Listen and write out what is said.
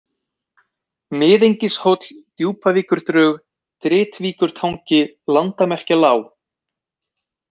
Mið-Engishóll, Djúpavíkurdrög, Dritvíkurtangi, Landamerkjalág